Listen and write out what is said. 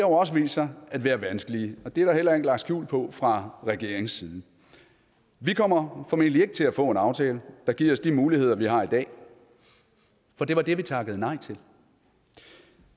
også vist sig at være vanskelige og det er der heller ikke lagt skjul på fra regeringens side vi kommer formentlig ikke til at få en aftale der giver os de muligheder vi har i dag for det var det vi takkede nej til